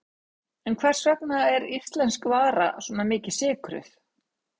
En hvers vegna er íslensk vara svona mikið sykruð?